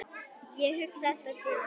Ég hugsa alltaf til hans.